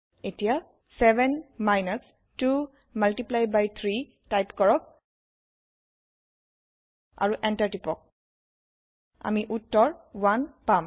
এটিয়া 7 minus 2 multiply by 3 type কৰক আৰু Enter টিপক আমি উত্তৰ 1 পাম